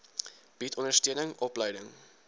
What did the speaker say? bied ondersteuning opleiding